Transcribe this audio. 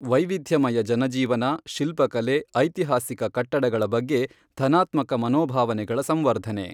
ವೈವಿಧ್ಯಮಯ ಜನಜೀವನ, ಶಿಲ್ಪಕಲೆ, ಐತಿಹಾಸಿಕ ಕಟ್ಟಡಗಳ ಬಗ್ಗೆ ಧನಾತ್ಮಕ ಮನೋಭಾವನೆಗಳ ಸಂವರ್ಧನೆ.